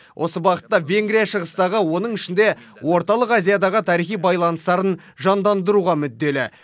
осы бағытта венгрия шығыстағы оның ішінде орталық азиядағы тарихи байланыстарын жандандыруға мүдделі